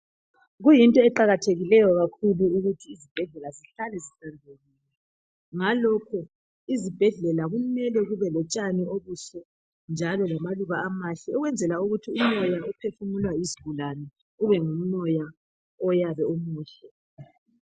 Kuyinto eqakathekileyo kakhulu ukuthi izibhedlela zihlale zihlanzekile ngalokhu izibhedlela kumele kube lotshani obuhle njalo lamaluba amahle ukwenzela ukuthi umoya ophefumulwa yizigulani ube ngumoya oyabe umuhle.